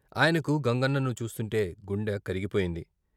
ఆయనకు గంగన్నను చూస్తుంటే గుండె కరిగిపోయింది.